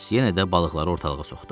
yenə də balıqları ortalığa soxdu.